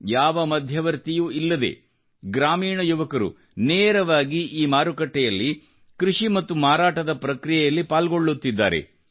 ಯಾವ ಮಧ್ಯವರ್ತಿಯೂ ಇಲ್ಲದೆ ಗ್ರಾಮೀಣ ಯುವಕರು ನೇರವಾಗಿ ಈಮಾರುಕಟ್ಟೆಯಲ್ಲಿ ಕೃಷಿ ಮತ್ತು ಮಾರಾಟದ ಪ್ರಕ್ರಿಯೆಯಲ್ಲಿ ಪಾಲ್ಗೊಳ್ಳುತ್ತಿದ್ದಾರೆ